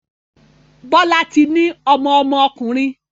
Bola tí ní ọmọ ọmọ ọkunrin